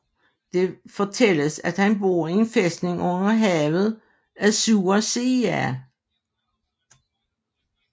Det fortælles at han bor i en fæstning under havet Azure Sea